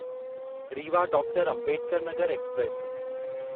Rewa doctor Ambedkar Nagar express